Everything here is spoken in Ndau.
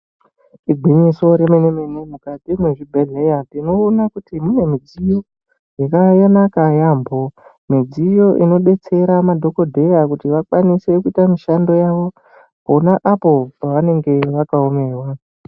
Igwinyiso re mene mene mukati mwe zvibhedhleya tino ona kuti mune midziyo yakanaka yambo midziyo ino detsera madhokodheya kuti vakwanise kuita mishando yavo pona apo pa vanenge vaka omerwa.